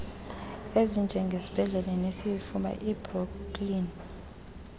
ezinjengesibhedlele sesifuba ibrooklyn